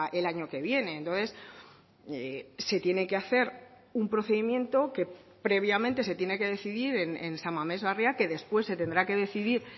el año que viene entonces se tiene que hacer un procedimiento que previamente se tiene que decidir en san mames barria que después se tendrá que decidir